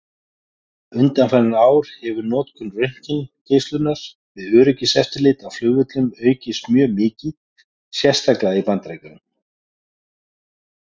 Undanfarin ár hefur notkun röntgengeislunar við öryggiseftirlit á flugvöllum aukist mjög mikið, sérstaklega í Bandaríkjunum.